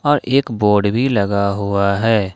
और एक बोर्ड भी लगा हुआ है।